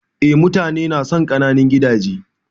Eh mutane nasan ƙananun gidaje.